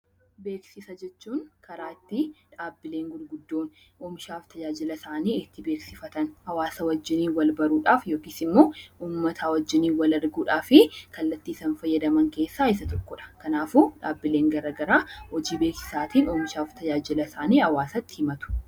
Beeksisa jechuun karaa ittiin dhaabbileen gurguddoo oomishaalee fi tajaajila isaanii itti beeksifatan hawaasa wajjin wal baruudhaaf yookaan immoo uummata wajjin wal arguudhaaf kallattii isaan fayyadaman keessaa Isa tokkodha. Kanaafuu dhaabbileen garaagaraa hojii beeksisaatiin oomishaa fi tajaajila isaanii hawaasatti himatu